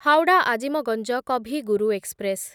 Howrah Azimganj Kavi Guru express